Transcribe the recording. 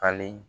Falen